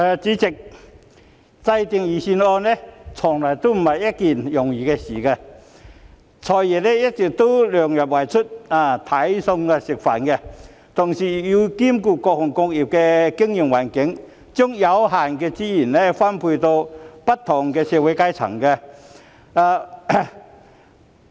主席，制訂財政預算案從來不是一件易事，"財爺"一來要量入為出，"睇餸食飯"，同時又要兼顧各行各業的經營環境，把有限的資源分配給不同的社會階層。